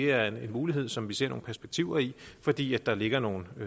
er en mulighed som vi ser nogle perspektiver i fordi der ligger nogle